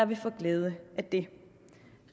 vil få glæde af det